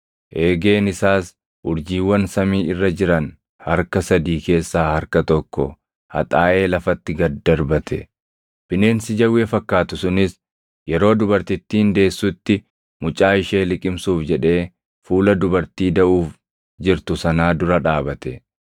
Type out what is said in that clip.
Eegeen isaas urjiiwwan samii irra jiran harka sadii keessaa harka tokko haxaaʼee lafatti gad darbate. Bineensi jawwee fakkaatu sunis yeroo dubartittiin deessutti mucaa ishee liqimsuuf jedhee fuula dubartii daʼuuf jirtu sanaa dura dhaabate.